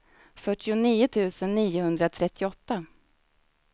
fyrtionio tusen niohundratrettioåtta